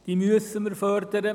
Diese müssen wir fördern.